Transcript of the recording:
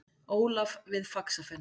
Ólaf við Faxafen.